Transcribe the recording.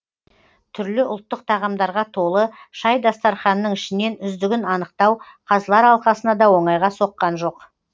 түрлі ұлттық тағамдарға толы шай дастарханының ішінен үздігін анықтау қазылар алқасына да оңайға соққан жоқ